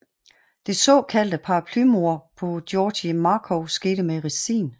Det såkaldt paraplymord på Georgi Markov skete med ricin